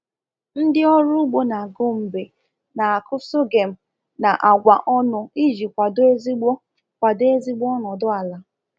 Ndị ọrụ ugbo na Gombe na-akụ sorghum na agwa ọnụ iji kwado ezigbo kwado ezigbo ọnọdụ ala.